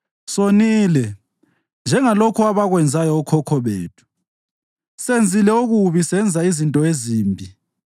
Sonile, njengalokho abakwenzayo okhokho bethu; senzile okubi senza izinto ezimbi.